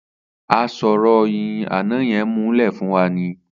Asọ̀ròyìn àná yẹn muúlẹ̀ fún wa ni.